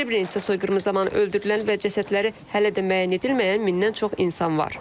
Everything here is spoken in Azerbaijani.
Srebrenitsa soyqırımı zamanı öldürülən və cəsədləri hələ də müəyyən edilməyən mindən çox insan var.